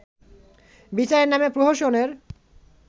বিচারের নামে প্রহসনের